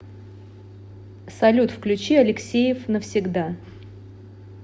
салют включи алексеев навсегда